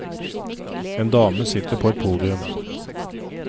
En dame sitter på et podium.